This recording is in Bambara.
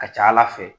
Ka ca ala fɛ